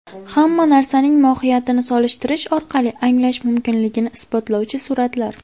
Hamma narsaning mohiyatini solishtirish orqali anglash mumkinligini isbotlovchi suratlar.